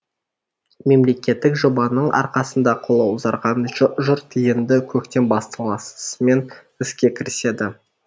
мемлекеттік жобаның арқасында қолы ұзарған жұрт енді көктем басталысымен іске кіріседі